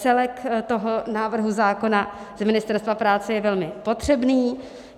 Celek toho návrhu zákona z Ministerstva práce je velmi potřebný.